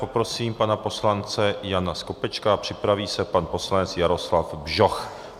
Poprosím pana poslance Jana Skopečka, připraví se pan poslanec Jaroslav Bžoch.